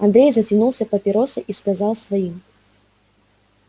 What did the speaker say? андрей затянулся папиросой и сказал своим